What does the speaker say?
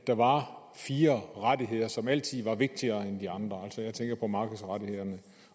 der var fire rettigheder som altid var vigtigere end de andre altså jeg tænker på markedsrettighederne